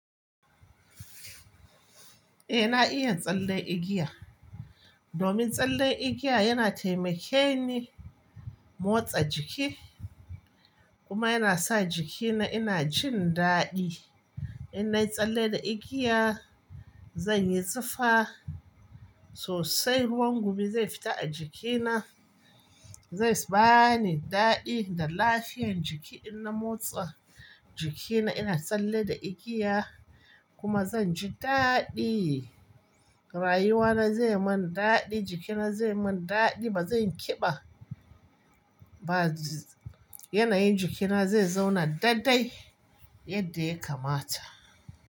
Eh na iya tsalle igiya. Domin tsalle igiya yana taimakenne motsa jiki. Kuma yana sa jikina ina jin daɗi. Ina tsalle da igiya, zan yi tsifa sosai ruwan gumi zai fita a jikina, zai bani daɗi, da lafiya jiki ina motsa. Jikina ina tsalle da igiya kuma zan ji daɗi. Rayuwa na zai yi mun daɗi, jikina zai yi mun daɗi ba zai yi ƙiba ba jj yanayin jikina zai zauna daɗaɗai, yadda ya kamata.